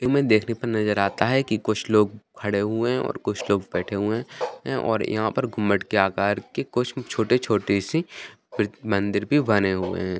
में देखने पर नजर आता है की कुछ लोग खड़े हुए हैं और कुछ लोग बैठे हुए हैं और यहाँ पे मटके आकर के कुछ छोटे छोटे सी मंदिर भी बने हुए हैं ।